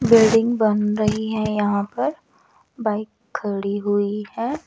Building बन रही है यहां पर बाइक खड़ी हुई है।